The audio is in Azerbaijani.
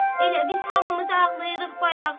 Elə biz hamımız ağlayırıq bayaq.